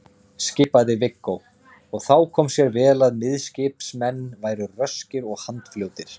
skipaði Viggó, og þá kom sér vel að miðskipsmenn voru röskir og handfljótir.